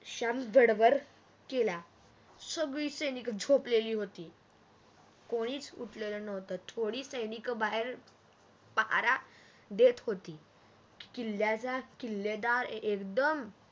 गडबड केला सगडी सैनिक झोपलेली होती कोणीच उठलेल नव्हत थोडी सैनिक बाहेर पहारा देत होती किल्याचा किल्लेदार एकदम